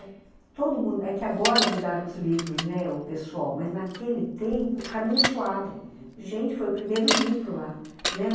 É que agora mudaram os livros, né, o pessoal, mas naquele tempo, Caminho Suave, uhum, gente, foi o primeiro livro lá.